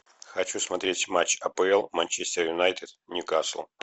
хочу смотреть матч апл манчестер юнайтед ньюкасл